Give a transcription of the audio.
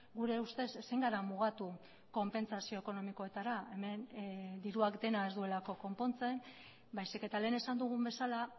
gure ustez ezin gara mugatu konpentsazio ekonomikoetara hemen diruak dena ez duelako konpontzen baizik eta lehen esan dugun bezala